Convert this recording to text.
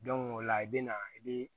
o la i bɛ na i bɛ